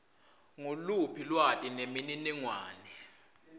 nguluphi lwati nemininingwane